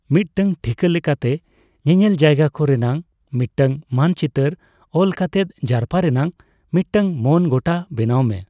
ᱢᱤᱫ ᱴᱟᱝ ᱴᱷᱤᱠᱟᱹ ᱞᱮᱠᱟᱛᱮ ᱧᱮᱧᱮᱞ ᱡᱟᱭᱜᱟ ᱠᱚ ᱨᱮᱱᱟᱜ ᱢᱤᱫᱴᱟᱝ ᱢᱟᱱᱪᱤᱛᱟᱹᱨ ᱚᱞ ᱠᱟᱛᱮᱫ ᱡᱟᱨᱯᱟ ᱨᱮᱱᱟᱜ ᱢᱤᱫᱴᱟᱝ ᱢᱚᱱ ᱜᱚᱴᱟ ᱵᱮᱱᱟᱣᱢᱮ ᱾